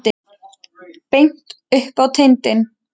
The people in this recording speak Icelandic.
Beint upp á tindinn.